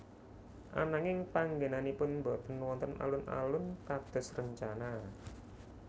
Ananging panggénanipun botên wonten alun alun kados rencana